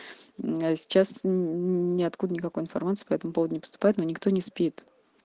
я сейчас ниоткуда никакой информации по этому поводу не поступает но никто не спит